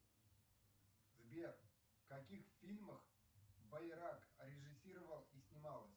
сбер в каких фильмах байрак режиссировал и снималась